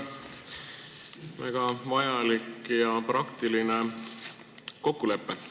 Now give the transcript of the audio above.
See on väga vajalik ja praktiline kokkulepe.